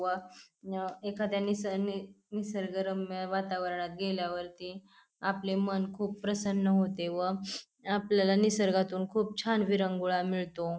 व अ एखाद्या अ निसर्गरम्य वातावरणात गेल्यावरती आपले मन खूप प्रसन्न होते व आपल्याला निसर्गातून खूप छान विरंगुळा मिळतो.